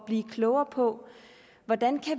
blive klogere på hvordan